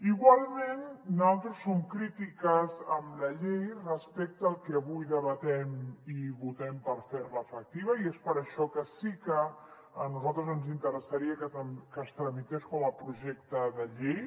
igualment nosaltres som crítiques amb la llei respecte al que avui debatem i votem per fer la efectiva i és per això que sí que a nosaltres ens interessaria que es tramités com a projecte de llei